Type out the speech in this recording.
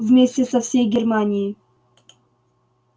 вместе со всей германией